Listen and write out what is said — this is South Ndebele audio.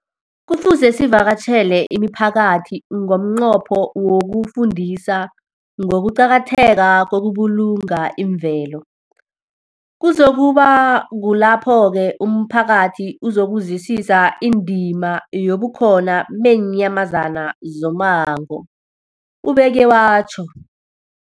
Kufuze sivakatjhele imiphakathi ngomnqopho wokuyifundisa ngokuqakatheka kokubulunga imvelo. Kuzoku ba kulapho-ke umphakathi uzokuzwisisa indima yobukhona beenyamazana zommango, ubeke watjho.